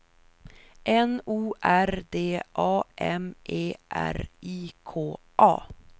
N O R D A M E R I K A